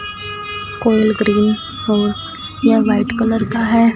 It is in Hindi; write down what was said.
कोयल ग्रीन और या वाइट कलर का है।